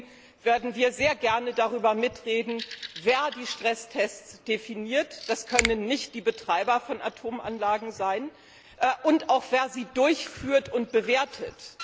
Im Übrigen werden wir sehr gerne darüber mitreden, wer die Stresstests definiert das können nicht die Betreiber von Atomanlagen sein und auch wer sie durchführt und bewertet.